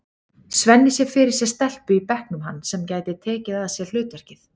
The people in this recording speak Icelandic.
Svenni sér fyrir sér stelpu í bekknum hans sem gæti tekið að sér hlutverkið.